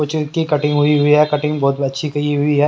की कटिंग हुई हुई है कटिंग बहुत अच्छी की हुई है।